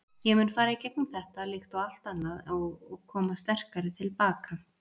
Ég mun fara í gegnum þetta, líkt og allt annað og koma sterkari til baka.